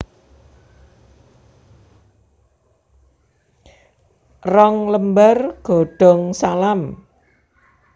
Rong lembar godong salam